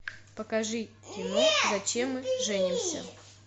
покажи кино зачем мы женимся